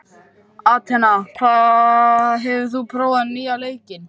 Atena, hefur þú prófað nýja leikinn?